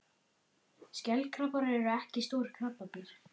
Skelkrabbar eru ekki stór krabbadýr.